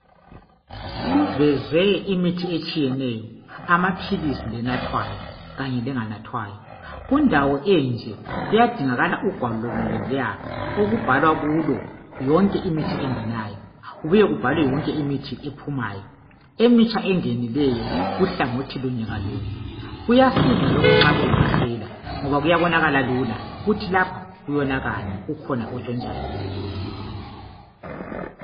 Kuvezwe imithi etshiyeneyo. Amaphilisi, lenathwayo kanye lenganathwayo. Kundawo enje, kuyadingakala ugwalo lonoluya, okubhalwa kulo yonke imithi engenayo. Kubuye kubhalwe yonke ephumayo. Emitsha engenileyo, kuhlangothi lunye ngalunye. Kuyasiza lokhu nxa kulamasela. Ukuthi lapha kuyonakala. Kukhona otshotshayo.